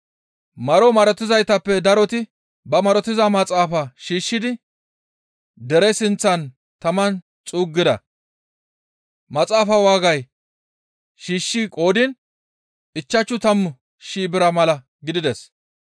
Maro marotizaytappe daroti ba marotiza maxaafaa shiishshidi dere sinththan taman xuuggida; maxaafaa waagay shiishshi qoodiin ichchashu tammu shii bira mala gidides.